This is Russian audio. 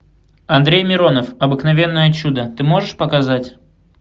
андрей миронов обыкновенное чудо ты можешь показать